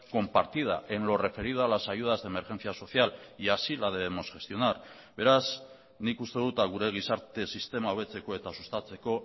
compartida en lo referido a las ayudas de emergencia social y así la debemos gestionar beraz nik uste dut gure gizarte sistema hobetzeko eta sustatzeko